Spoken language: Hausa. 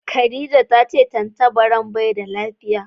Khadijah ya ce tantabaran bai da lafiya.